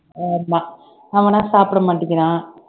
ஆமா அவனா சாப்பிட மாட்டிக்கிறான்